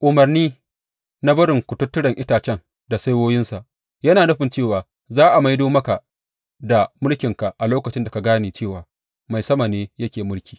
Umarni na barin kututturen itacen da saiwoyinsa yana nufin cewa za a maido maka da mulkinka a lokacin da ka gane cewa Mai sama ne yake mulki.